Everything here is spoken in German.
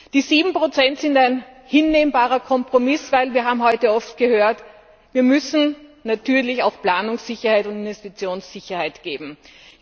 Die 7 sind ein hinnehmbarer Kompromiss, denn wir haben heute oft gehört, dass wir natürlich auch Planungssicherheit und Investitionssicherheit geben müssen.